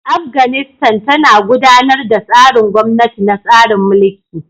Afganistan tana gudanar da tsarin gwamnati na tsarin mulki.